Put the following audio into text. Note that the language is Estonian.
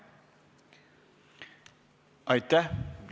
Aitäh!